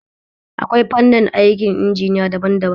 Akwai fanni aikin injiniya daban daban